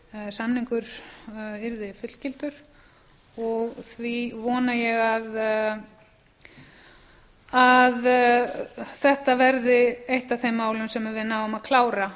samningur yrði fullgiltur og því vona ég að þetta verði eitt af þeim málum sem við náum að klára